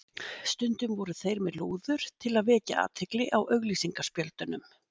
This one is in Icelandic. Stundum voru þeir með lúður til að vekja athygli á auglýsingaspjöldunum.